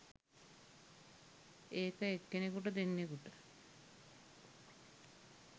ඒක එක්කෙනෙකුට දෙන්නෙකුට